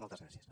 moltes gràcies